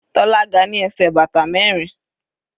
Tola ga ní ẹsẹ̀ bàtà mẹrin.